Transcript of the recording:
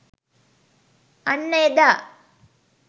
අන්න එදා